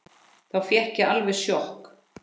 Þá fékk ég alveg sjokk.